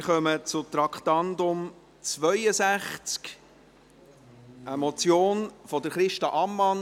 Wir kommen zu Traktandum 62, einer Motion von Christa Ammann.